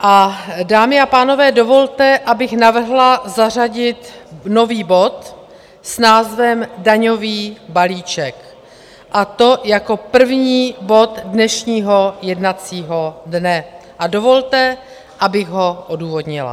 Dámy a pánové, dovolte, abych navrhla zařadit nový bod s názvem Daňový balíček, a to jako první bod dnešního jednacího dne, a dovolte, abych ho odůvodnila.